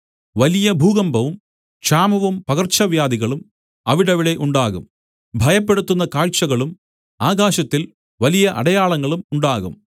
വലിയ ഭൂകമ്പവും ക്ഷാമവും പകർച്ചവ്യാധികളും അവിടവിടെ ഉണ്ടാകും ഭയപ്പെടുത്തുന്ന കാഴ്ചകളും ആകാശത്തിൽ വലിയ അടയാളങ്ങളും ഉണ്ടാകും